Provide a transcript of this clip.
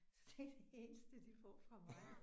Så det er det eneste de får fra mig